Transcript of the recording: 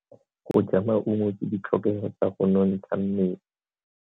Go ja maungo ke ditlhokego tsa go nontsha mmele.